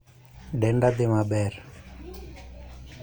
Denda dhii maber